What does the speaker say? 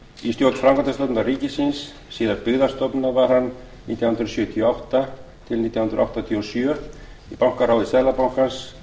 í stjórn framkvæmdastofnunar ríkisins síðar byggðastofnunar var hann nítján hundruð sjötíu og átta til nítján hundruð áttatíu og sjö í bankaráði seðlabankans